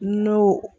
N'o